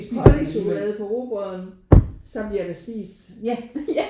Pålægschokolade på rugbrøden så bliver det spist